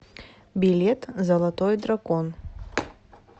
билет золотой дракон